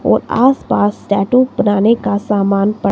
और आसपास टैटू बनाने का सामान प--